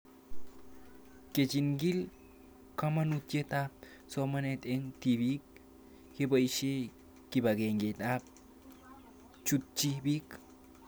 Kechig'il kamanutiet ab somanet eng'tipik kepoishe kipag'eng'e ak ye chutchi pik